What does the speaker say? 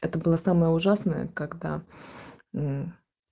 это было самое ужасное когда